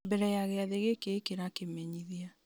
mbere ya gĩathĩ gĩkĩ ĩkĩra kĩmenyithia